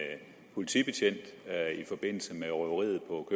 politibetjent i forbindelse med røveriet på